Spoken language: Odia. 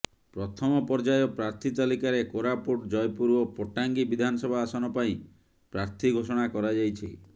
ପ୍ରଥମ ପର୍ଯ୍ୟାୟ ପ୍ରାର୍ଥୀ ତାଲିକାରେ କୋରାପୁଟ ଜୟପୁର ଏବଂ ପଟ୍ଟାଙ୍ଗୀ ବିଧାନସଭା ଆସନ ପାଇଁ ପ୍ରାର୍ଥୀ ଘୋଷଣା କରାଯାଇଛି